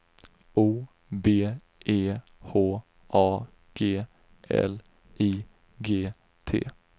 O B E H A G L I G T